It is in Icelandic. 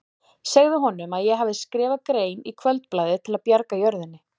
Segðu honum að ég hafi skrifað grein í Kvöldblaðið til að bjarga jörðinni.